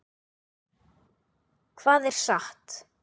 Hvað er satt?